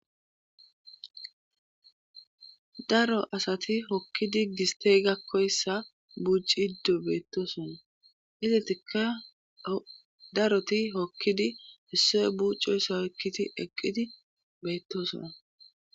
Daro asati hokkidi gisttey gakkoyssa buuccciddo beettoosona izatikka o daroti hokkidi issoy buuccoyssa otkkidi eqqidi beettoosona.